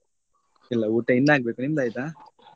ಇಲ್ಲಾ ಊಟ ಇನ್ನು ಆಗ್ಬೇಕು ನಿಮ್ಮದ್ ಆಯ್ತಾ?